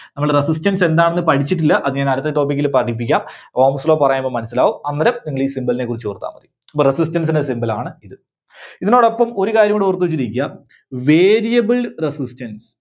നമ്മള് Resistance എന്താണെന്ന് പഠിച്ചിട്ടില്ല. അത് ഞാൻ അടുത്ത topic ല് പഠിപ്പിക്കാം. Ohm's Law പറയുമ്പോ മനസ്സിലാവും അന്നേരം നിങ്ങളീ Symbol നെ കുറിച്ച് ഓർത്താ മതി. ഇത് resistance ന്റെ symbol ണ് ഇത്. ഇതിനോടൊപ്പം ഒരു കാര്യം കൂടെ ഓർത്തുവെച്ചിരിക്കുക Variable Resistance.